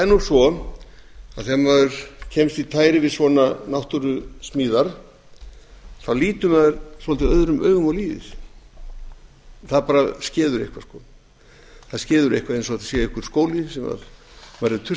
nú svo að þegar maður kemst í tæri við svona náttúrusmíðar þá lítur maður svolítið öðrum augum á lífið það skeður eitthvað eins og þetta sé einhver skóli sem maður er tuskaður til